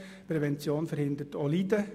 Prävention verhindert auch Leiden.